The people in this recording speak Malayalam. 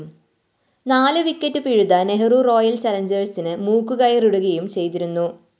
നാലു വിക്കറ്റ്‌ പിഴുത നെഹ്‌റ റോയൽ ചലഞ്ചേഴ്‌സിന് മൂക്കുകയറിടുകയും ചെയ്തിരുന്നു